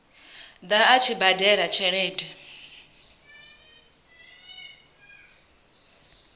ḓa a tshi badela tshelede